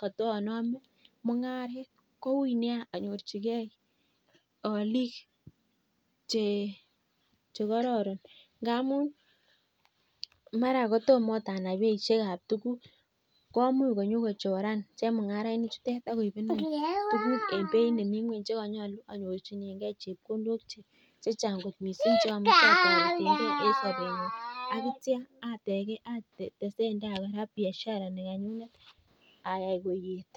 kotonome mung'aret koui nia anyorchigee oliik chekororon ngamun mara ot kotom ot anai beisiek ab tuguk komuch konyokochoran chemung'arainikchutet ak koibenon tuguk en beit nemi nyweny chekonyolu anyorchigen rabinik chechang missing cheomuche atoreteng'en en sobenyun ak kitya atesengen ak ak biashara nekanyunet ayai koet.